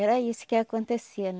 Era isso que acontecia